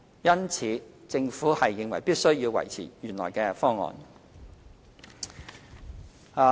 因此，政府認為必須要維持原來的方案。